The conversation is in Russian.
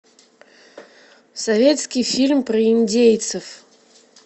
советский фильм про индейцев